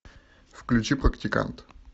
включи практикант